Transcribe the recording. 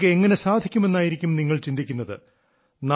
ഇതൊക്കെ എങ്ങനെ സാധിക്കുമെന്നായിരിക്കും നിങ്ങൾ ചിന്തിക്കുന്നത്